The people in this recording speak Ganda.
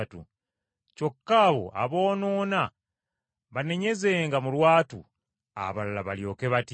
Kyokka abo aboonoona banenyezenga mu lwatu, abalala balyoke batye.